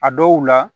A dɔw la